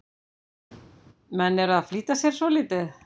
Menn eru að flýta sér svolítið.